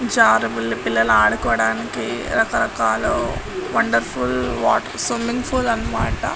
జరుబాల్ పిల్లలు ఆడుకోడానికి రకరకాలు వండర్ఫుల్ వాటర్ స్విమ్మింగ్ పూల్ అన్నమాట.